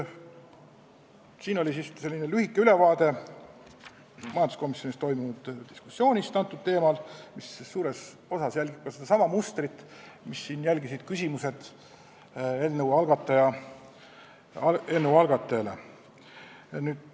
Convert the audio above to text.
Selline oli lühike ülevaade majanduskomisjonis toimunud diskussioonist antud teemal, mis suures osas järgis sedasama mustrit, mida järgisid siin küsimused eelnõu algataja esindajale.